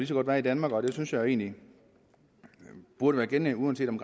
så godt være i danmark og det synes jeg egentlig burde gælde uanset om